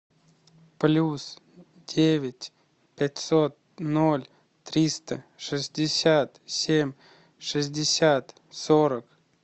плюс девять пятьсот ноль триста шестьдесят семь шестьдесят сорок